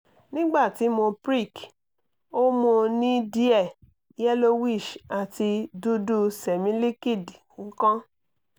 nigbati mo prick o mo ni diẹ yellowish ati dudu semiliqid nkan